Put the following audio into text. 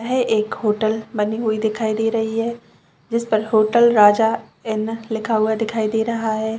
है एक होटल बनी हुई दिखाई दे रही है जिस पर होटल राजा एन लिखा हुआ दिखाई दे रहा है।